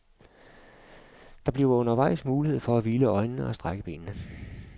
Der bliver undervejs mulighed for at hvile øjnene og strække benene.